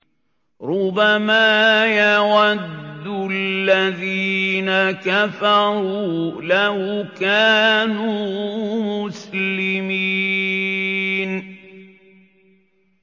رُّبَمَا يَوَدُّ الَّذِينَ كَفَرُوا لَوْ كَانُوا مُسْلِمِينَ